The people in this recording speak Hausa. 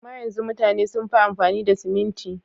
Amma yanzu mutane sun fi amfani da siminti.